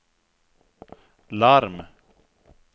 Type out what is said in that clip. larm